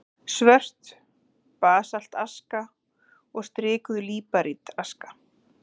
Svört basaltaska og strikuð líparítaska.